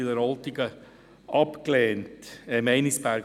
ich meine natürlich Meinisberg.